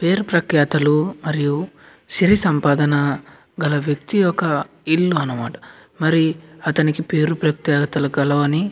పేరు ప్రఖ్యాతులు మరియు సిరి సంపాదన గల ఒక వ్యక్తీయ ఇల్లు అనమాట మరి పేరు ప్రత్య గల వని --